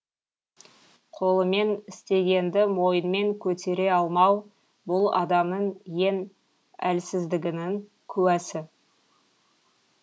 қолымен істегенді мойынмен көтере алмау бұл адамның ең әлсіздігінің куәсі